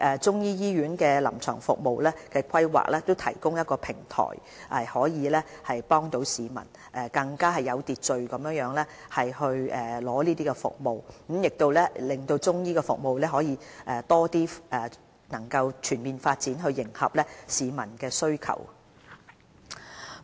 中醫醫院臨床服務的規劃，正好提供了平台，有助市民更有秩序地取得服務，令中醫服務可以全面發展，以迎合市民需求。